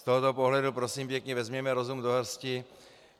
Z tohoto pohledu prosím pěkně vezměme rozum do hrsti.